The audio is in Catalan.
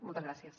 moltes gràcies